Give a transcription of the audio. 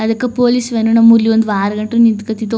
ಅದುಕ್ಕಾ police van ನಮ್ಮೂರ್ಲಿ ಒಂದು ವಾರ ಗಂಟ ನಿಂತ್ಕತಿದ್ದೋ --